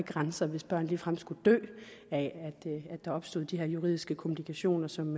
grænser hvis børn ligefrem skulle dø af at der opstod de her juridiske komplikationer som